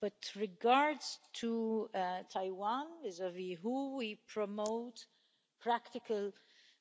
But, regarding Taiwan vis-à-vis the WHO, we promote practical